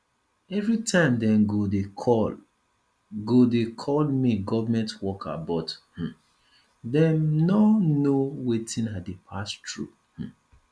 everytime dem go dey call go dey call me government worker but um dem no know wetin i dey pass through um